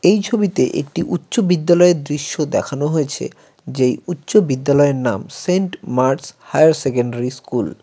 এই ছবিতে একটি উচ্চ বিদ্যালয়ের দৃশ্য দেখানো হয়েছে যেই উচ্চ বিদ্যালয়ের নাম Saint Mart's higher secondary school.